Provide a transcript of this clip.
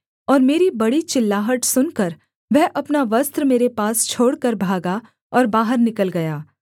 और मेरी बड़ी चिल्लाहट सुनकर वह अपना वस्त्र मेरे पास छोड़कर भागा और बाहर निकल गया